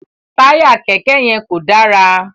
Taya kẹkẹ yẹn kò dára